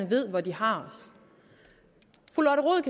ved hvor de har